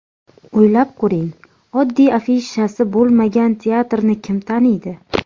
O‘ylab ko‘ring, oddiy afishasi bo‘lmagan teatrni kim taniydi?